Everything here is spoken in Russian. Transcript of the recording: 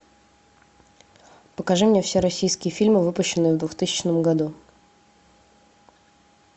покажи мне все российские фильмы выпущенные в двухтысячном году